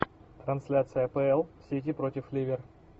трансляция апл сити против ливер